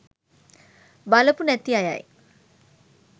බලපු නැති අයයි